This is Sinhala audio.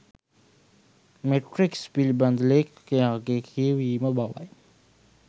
මේට්‍රික්ස් පිලිබඳ ලේඛකයාගේ කියවීම බවයි.